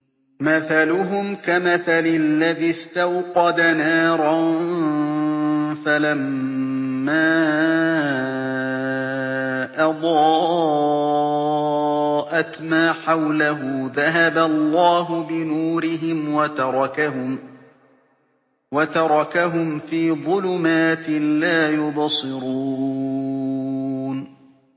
مَثَلُهُمْ كَمَثَلِ الَّذِي اسْتَوْقَدَ نَارًا فَلَمَّا أَضَاءَتْ مَا حَوْلَهُ ذَهَبَ اللَّهُ بِنُورِهِمْ وَتَرَكَهُمْ فِي ظُلُمَاتٍ لَّا يُبْصِرُونَ